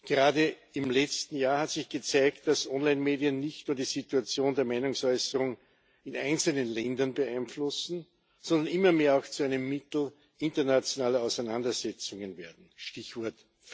Gerade im letzten Jahr hat sich gezeigt, dass Onlinemedien nicht nur die Situation der Meinungsäußerung in einzelnen Ländern beeinflussen, sondern immer mehr auch zu einem Mittel internationaler Auseinandersetzungen werden Stichwort